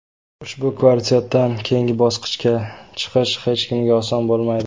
Ushbu kvartetdan keyingi bosqichga chiqish hech kimga oson bo‘lmaydi.